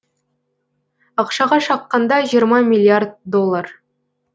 ақшаға шаққанда жиырма миллиард доллар